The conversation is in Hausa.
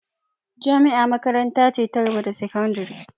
Jami'a makaranta ce ta gaba da sakandire